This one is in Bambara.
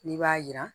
N'i b'a jira